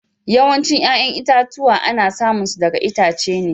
Yawancin 'ƴa'ƴan itatuwa ana samun su daga itace.